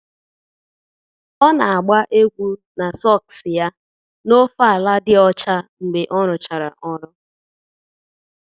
Ọ na-agba egwu na sọks ya n'ofe ala dị ọcha mgbe ọ rụchara ọrụ